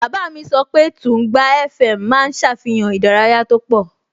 Bàbá mi sọ pé Tùngbá FM máa ń ṣàfihàn ìdárayá tó pọ̀